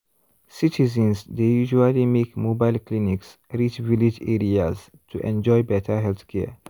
citizens dey usually make mobile clinics reach village areas to enjoy better healthcare.